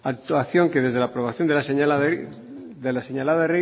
actuación que desde la aprobación de la señalada ley